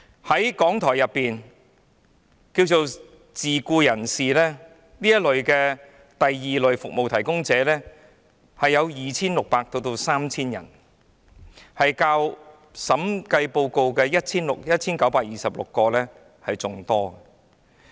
在港台的自僱人士，即這些第 II 類服務提供者人數為 2,600 至 3,000 人，較審計署報告中的 1,926 人為多。